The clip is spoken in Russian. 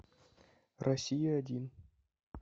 россия один